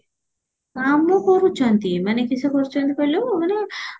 କାମ କରୁଛନ୍ତି ମାନେ କିସ କରୁଚନ୍ତି କହିଲୁ ମାନେ